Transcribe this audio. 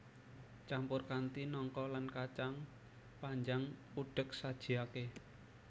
Campur kanthi nangka lan kacang panjang udhek sajiake